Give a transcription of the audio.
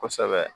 Kosɛbɛ